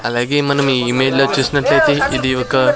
అలాగే మనం ఈ ఇమేజ్ లో చూసిన్నట్లైతే ఇది ఒక --